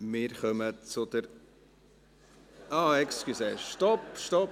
Wir kommen zur ... Entschuldigen Sie, stopp!